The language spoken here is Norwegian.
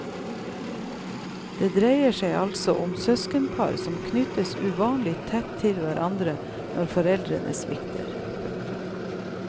Det dreier seg altså om et søskenpar som knyttes uvanlig tett til hverandre når foreldrene svikter. punktum